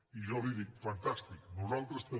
i jo li dic fantàstic nosaltres també